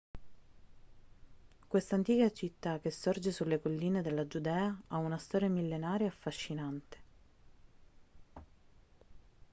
questa antica città che sorge sulle colline della giudea ha una storia millenaria e affascinante